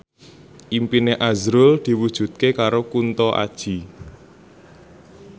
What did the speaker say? impine azrul diwujudke karo Kunto Aji